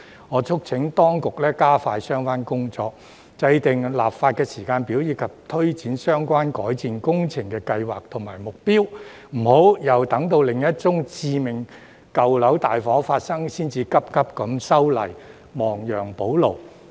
我促請當局加快相關工作，制訂立法時間表，推展相關改善工程計劃，並制訂目標，不要待另一宗致命舊樓大火發生，才匆匆修例，亡羊補牢。